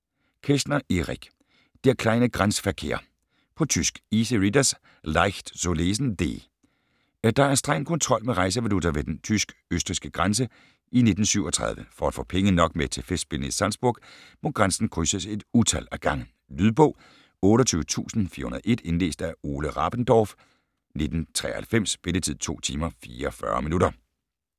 Kästner, Erich: Der kleine Grenzverkehr På tysk. Easy readers; Leicht zu lesen. D. Der er streng kontrol med rejsevaluta ved den tysk/østrigske grænse i 1937. For at få penge nok med til festspillene i Salzburg må grænsen krydses et utal af gange. Lydbog 28401 Indlæst af Ole Rabendorf, 1993. Spilletid: 2 timer, 44 minutter.